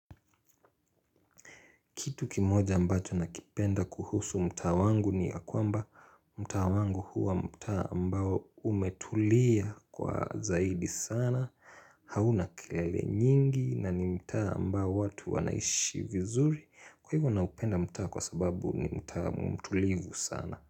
Kitu kimoja ambacho nakipenda kuhusu mtaa wangu ni ya kwamba mtaa wangu huwa mtaa ambao umetulia kwa zaidi sana hauna kelele nyingi na ni mtaa ambao watu wanaishi vizuri kwa hivyo naupenda mtaa kwa sababu ni mtaa mtulivu sana.